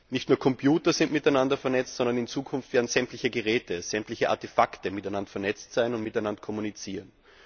Nicht nur Computer sind miteinander vernetzt, sondern in Zukunft werden sämtliche Geräte, sämtliche Artefakte miteinander vernetzt sein und miteinander kommunizieren.